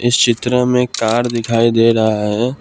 इस चित्र में कार दिखाई दे रहा है।